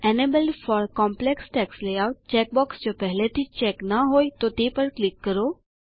enabled for complex text layout check box જો પહેલાથી જ ચેક ના હોય તો તે પર ક્લિક કરો